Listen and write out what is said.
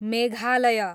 Meghalaya